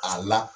A la